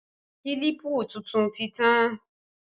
Kílípù tuntun ti tán